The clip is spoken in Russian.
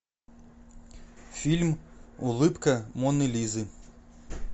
фильм улыбка моны лизы